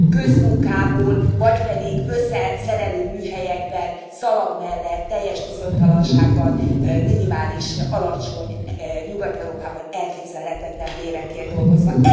közmunkából vagy pedig összeszerelő műhelyekben, szalag mellett, teljes bizonytalanságban, minimális, alacsony, Nyugat Európában elképzelhetetlen bérekért dolgozva?